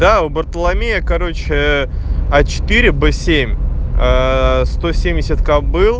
да у бартоломея короче а четыре б семь ээ сто семьдесят кобыл